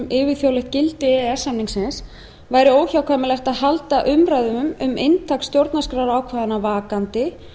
yfirþjóðlegt gildi e e s samningsins væri óhjákvæmilegt að halda umræðunum um inntak stjórnarskrárákvæðanna vakandi